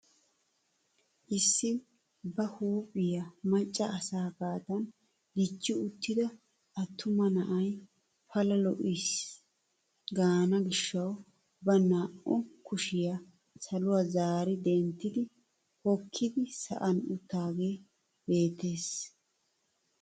Issi ba huuphphiyaa macca asaagadan dichchi uttida attuma na'ay pala lo"ayis gaana gishshaw ba naa"u kushshiyaa saluwaa zaari denttidi hokkidi sa'an uttidaagee beettees.